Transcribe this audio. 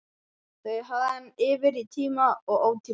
Þau hafði hann yfir í tíma og ótíma.